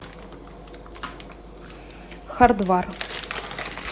хардвар